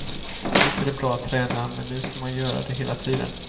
Visst är det bra att träna, men nu ska man göra det hela tiden.